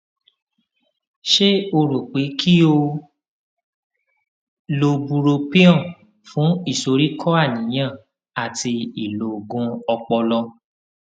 ṣé o rò pé kí o lo bupropion fún ìsoríkó àníyàn àti ìlọgun ọpọlọ